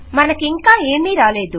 మనకింకా ఏమీ రాలేదు